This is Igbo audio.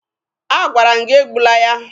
Agwara m gị egbula ya!